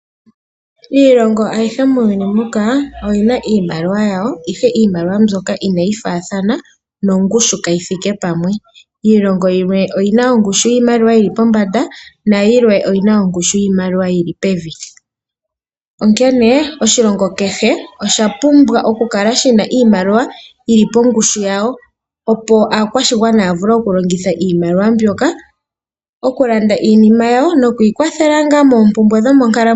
Iilongo ayihe muuyuni muka oyina iimaliwa yawo ihe iimaliwa mbyoka inayi faathana nongushu kayithiike pamwe. Iilongo yilwe oyina ongushu yiimaliwa yili pombanda nayilwe oyina ongushu yiimaliwa yili pevi. Onkene oshilongo kehe oshapumbwa oku kala shina iimaliwa yili pongushu yayo, opo aakwashigwana ya vule okulongitha iimaliwa mbyoka okulanda iinima yawo nokwiikwathela ngaa moompumbwe dhomonkalamwenyo.